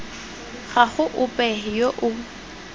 ga go ope yo o